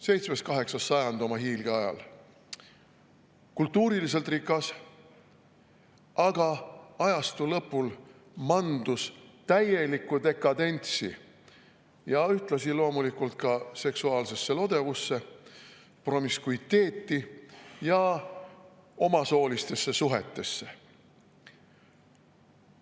VII–VIII sajand oli hiilgeaeg, kultuuriliselt rikas, aga ajastu lõpul manduti täielikku dekadentsi ja ühtlasi loomulikult seksuaalsesse lodevusse, promiskuiteeti ja omasoolistesse suhetesse.